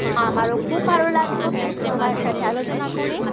আমারও খুব ভালো লাগলো, তোমার সাথে আলোচনা করে,